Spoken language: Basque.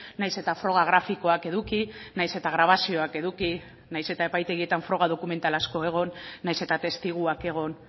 nahiz eta froga grafikoak eduki nahiz eta grabazioak eduki nahiz eta epaitegietan froga dokumental asko egon nahiz eta testiguak egon